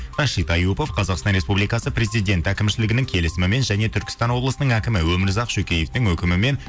рашид аюпов қазақстан республикасы президент әкімшілігінің келісімімен және түркістан облысының әкімі өмірзақ шөкеевтің өкімімен